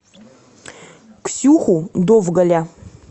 ксюху довгаля